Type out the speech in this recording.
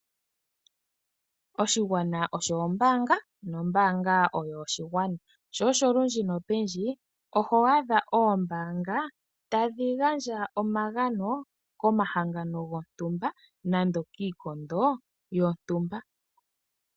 Oshigwana osho ombaanga nombaanga oyo oshigwana, sho olundji nopendji oho adha oombaanga tadhi gandja omagano komahangano gontumba nando iikondo yontumba.